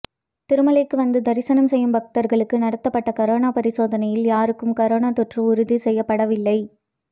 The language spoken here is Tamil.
திருமலைக்கு வந்து தரிசனம் செய்யும் பக்தர்களுக்கு நடத்தப்பட்ட கரோனா பரிசோதனையில் யாருக்கும் கரோனா தொற்று உறுதி செய்யப்படவில்லை